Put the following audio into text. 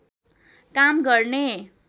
काम गर्ने